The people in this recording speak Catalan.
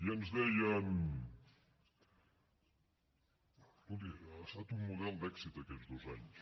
i ens deien escolti ha estat un model d’èxit aquests dos anys